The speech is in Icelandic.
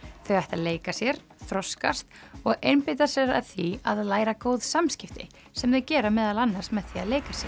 þau ættu að leika sér þroskast og einbeita sér að því að læra góð samskipti sem þau gera meðal annars með því að leika sér